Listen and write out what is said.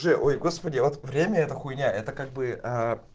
же ой господи вот время это хуйня это как бы